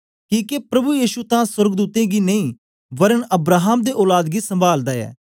किके प्रभु यीशु तां सोर्गदूतें गी नेई वरन अब्राहम दे औलाद गी संभालदा ऐ